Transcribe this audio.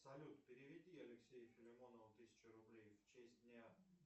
салют переведи алексею филимонову тысячу рублей в честь дня